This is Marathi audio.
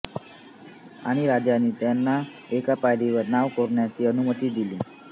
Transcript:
आणि राजांनी त्यांना एका पायरीवर नाव कोरण्याची अनुमती दिली